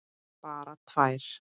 Bara tvær.